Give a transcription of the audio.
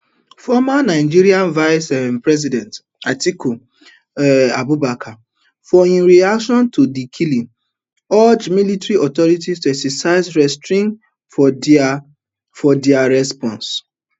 former nigeria vice um president atiku um abubakar for im reaction to di killing urge military authorities to exercise restraints for dia for dia response